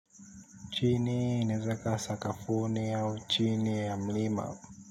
Chini inaeza ikawa sakafuni au chini ya mlima.